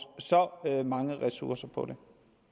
så mange ressourcer på